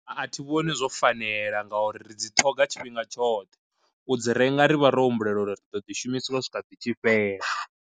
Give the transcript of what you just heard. A thi vhoni zwo fanela nga uri ri dzi ṱhoga tshifhinga tshoṱhe, u dzi renga rivha ro humbulela uri ri ḓo ḓi shumiswa swika ḓi tshi fhela.